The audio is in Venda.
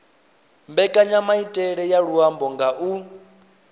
mbekanyamaitele ya luambo nga u